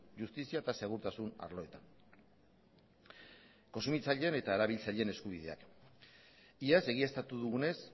justizia eta segurtasun arloetan kontsumitzaileen eta erabiltzaileen eskubideak iaz egiaztatu dugunez